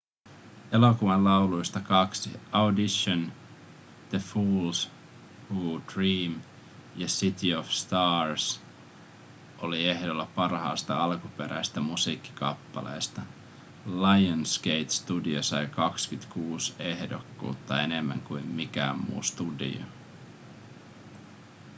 elokuvan lauluista kaksi audition the fools who dream ja city of stars oli ehdolla parhaasta alkuperäisestä musiikkikappaleesta. lionsgate-studio sai 26 ehdokkuutta – enemmän kuin mikään muu studio